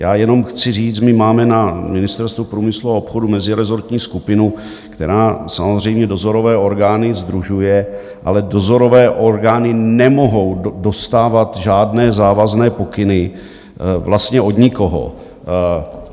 Já jenom chci říct, my máme na Ministerstvu průmyslu a obchodu mezirezortní skupinu, která samozřejmě dozorové orgány sdružuje, ale dozorové orgány nemohou dostávat žádné závazné pokyny vlastně od nikoho.